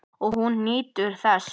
Og hún nýtur þess.